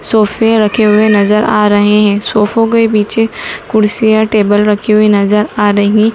सोफे रखे हुए नजर आ रहे हैं सोफो के पीछे कुर्सियां टेबल रखी हुई नजर आ रही--